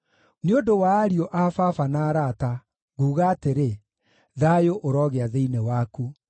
Nĩ ũndũ wa ariũ a baba na arata, nguuga atĩrĩ, “Thayũ ũrogĩa thĩinĩ waku.”